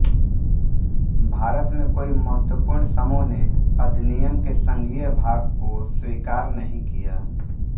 भारत में कोई महत्त्वपूर्ण समूह ने अधिनियम के संघीय भाग को स्वीकार नहीं किया